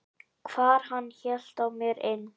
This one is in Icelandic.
hvar hann hélt á mer inn.